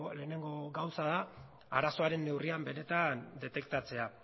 lehenengo gauza da arazoaren neurria benetan detektatzea